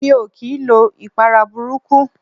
Mi ò kii lo ìpara burúkú.